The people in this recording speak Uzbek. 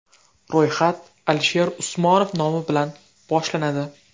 Ro‘yxat Alisher Usmonov nomi bilan boshlanadi.